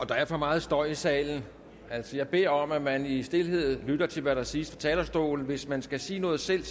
der er for meget støj i salen jeg altså bede om at man i stilhed lytter til hvad der siges fra talerstolen hvis man skal sige noget selv